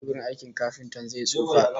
Teburin aikin kafinta zai tsufa